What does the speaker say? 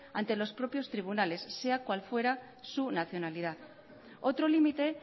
ante los propios tribunales sea cual fuera su nacionalidad otro límite